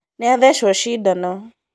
Nĩathecwo cindano